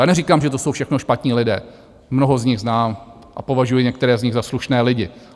Já neříkám, že to jsou všechno špatní lidé, mnoho z nich znám a považuji některé z nich za slušné lidi.